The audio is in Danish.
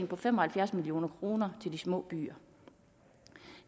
på fem og halvfjerds million kroner til de små byer